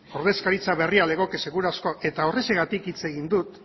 ordezkaritza berri legoke seguru asko eta horrexegatik hitz egin dut